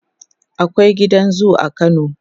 akwai gidan zoo a kano